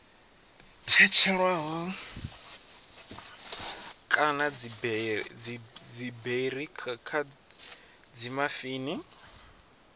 tshetshelelwaho kana dziberi kha dzimafini